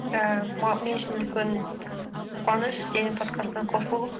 ііі мен үшін үлкен қуаныш сенің подкастына қосылу